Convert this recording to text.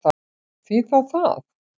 Því þá það?